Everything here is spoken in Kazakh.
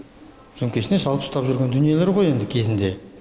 сөмкесіне салып ұстап жүрген дүниелері ғой енді кезінде